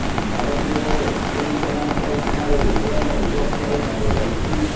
ଭାରତୀୟ ଓ ଚୀନ୍ସେନା ସୀମାରେ ଭଭୟଙ୍କ ବୁଝାସୁଝାରେ କାର୍ଯ୍ୟ ଚାଲିଛି